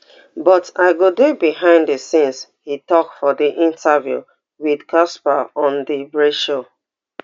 but i go dey behind di scenes e tok for di interview wit cassper on di braai show